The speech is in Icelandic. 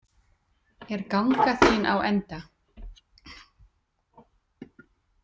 Er ganga þín á enda?